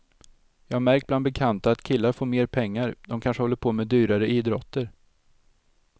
Jag har märkt bland bekanta att killar får mer pengar, de kanske håller på med dyrare idrotter.